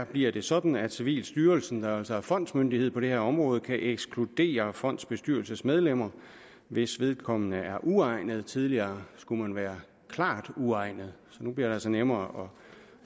bliver sådan at civilstyrelsen der altså er fondsmyndighed på det her område kan ekskludere et fondsbestyrelsesmedlem hvis vedkommende er uegnet tidligere skulle man være klart uegnet så nu bliver det altså nemmere